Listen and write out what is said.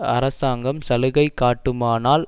அரசாங்கம் சலுகை காட்டுமானால்